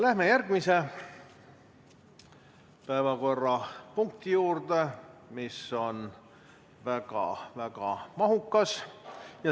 Läheme järgmise päevakorrapunkti juurde, mis on väga-väga mahukas.